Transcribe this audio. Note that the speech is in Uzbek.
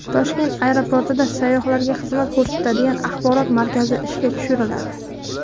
Toshkent aeroportida sayyohlarga xizmat ko‘rsatadigan axborot markazi ishga tushiriladi.